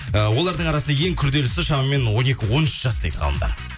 ыыы олардың арасында ең күрделісі шамамен он екі он үш жас дейді ғалымдар